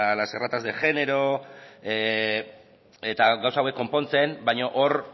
las erratas de género eta gauza hauek konpontzen baino hor